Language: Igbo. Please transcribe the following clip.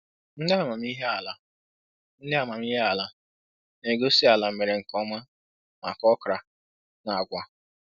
Ndị amamihe ala Ndị amamihe ala na-egosi ala mere nkeoma maka okra na agwa